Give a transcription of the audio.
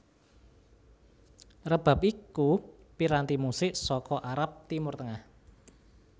Rebab iku piranti musik saka Arab Timur Tengah